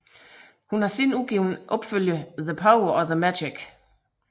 Hun har siden udgivet opfølgerne The Power og The Magic